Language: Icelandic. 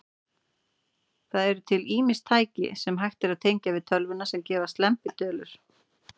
Það eru til ýmis tæki, sem hægt er að tengja við tölvuna, sem gefa slembitölur.